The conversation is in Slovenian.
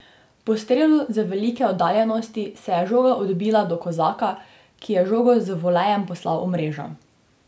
Po strelu z velike oddaljenosti se je žoga odbila do Kozaka, ki je žogo z volejem poslal v mrežo.